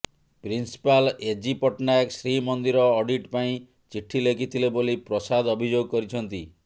principal AG Patnaik Srimandir audit ପାଇଁ ଚିଠି ଲେଖିଥିଲେ ବୋଲି ପ୍ରସାଦ ଅଭିଯୋଗ କରିଛନ୍ତି